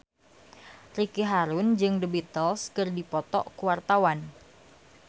Ricky Harun jeung The Beatles keur dipoto ku wartawan